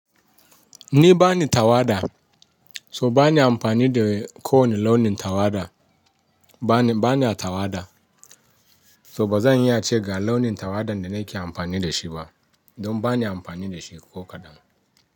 Ni bani tawada, so bani amfani da kowane launin tawada. Bana tawada, so ba zan iya ce ga launin tawadan da nake amfani da shi ba, don bani amfani da shi, ko kaɗan.